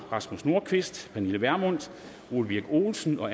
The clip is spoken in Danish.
rasmus nordqvist pernille vermund ole birk olesen og